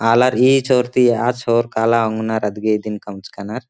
आलर ई छोर ती आ छोर काला ओंगनर अदगे ईदिन कमचका नर ।